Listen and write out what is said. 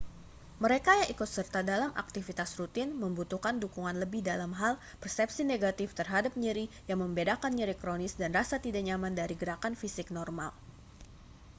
mereka yang ikut serta dalam aktivitas rutin membutuhkan dukungan lebih dalam hal persepsi negatif terhadap nyeri yang membedakan nyeri kronis dan rasa tidak nyaman dari gerakan fisik normal